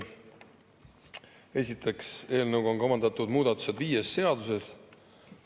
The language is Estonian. Esiteks, eelnõuga on kavandatud muudatused viies seaduses.